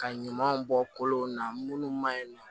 Ka ɲamanw bɔ kolonw na minnu ma ɲi nɔ